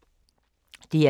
DR2